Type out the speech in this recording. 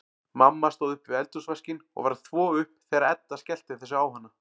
Mamma stóð við eldhúsvaskinn og var að þvo upp þegar Edda skellti þessu á hana.